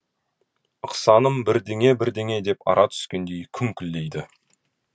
ықсаным бірдеңе бірдеңе деп ара түскендей күңкілдейді